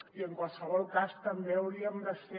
i en qualsevol cas també hauríem de ser